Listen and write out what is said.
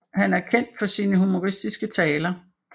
Han er kendt for sine humoristiske taler